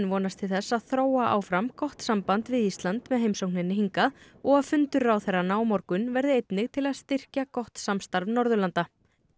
vonast til þess að þróa áfram gott samband við Ísland með heimsókninni hingað og að fundur ráðherranna á morgun verði einnig til að styrkja gott samstarf Norðurlanda